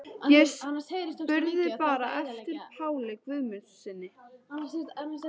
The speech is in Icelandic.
Ég spurði bara eftir Páli Guðmundssyni.